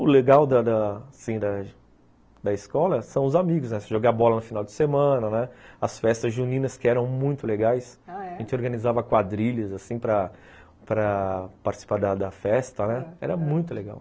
O legal da da assim da da escola são os amigos, né, você jogar bola no final de semana, né, as festas juninas que eram muito legais, ah, é? a gente organizava quadrilhas assim para para participar da da festa, era muito legal.